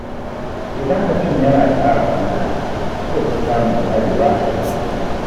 Idan mutum yana tsara ayyukansa, zai fi samun ƙwarewa a aikinsa.